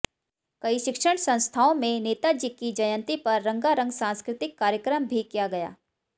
कई शिक्षण संस्थाओं में नेता जी की जयंती पर रंगारंग सांस्कृतिक कार्यक्रम भी किया गया